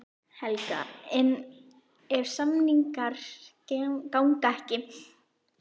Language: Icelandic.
Helga: En ef samningar ganga ekki?